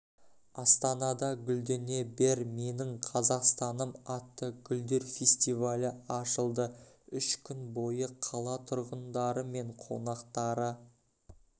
астанада гүлдене бер менің қазақстаным атты гүлдер фестивалі ашылды үш күн бойы қала тұрғындары мен қонақтары